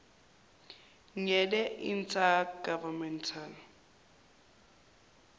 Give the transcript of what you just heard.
ngele inter governmental